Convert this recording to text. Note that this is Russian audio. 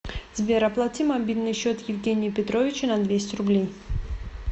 сбер оплати мобильный счет евгения петровича на двести рублей